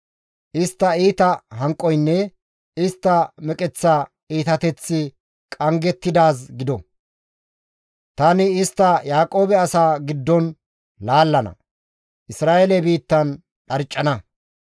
Istta iita hanqoynne istta meqeththa iitateththi qanggettidaaz gido! Tani istta Yaaqoobe asaa giddon laallana; Isra7eele biittan dharccana.